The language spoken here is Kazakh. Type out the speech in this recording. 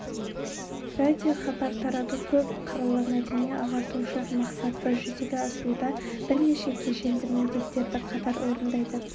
радиохабар тарату көп қырлы мәдени-ағартушылық мақсатты жүзеге асыруда бірнеше кешенді міндеттерді қатар орындайды